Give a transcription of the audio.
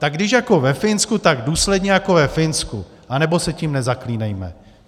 Tak když jako ve Finsku, tak důsledně jako ve Finsku, anebo se tím nezaklínejme.